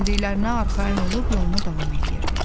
Gəldiklərinə arxayın olub yoluna davam eləyirdi.